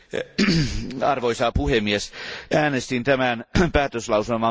Arvoisa puhemies, äänestin tämän päätöslauselman puolesta.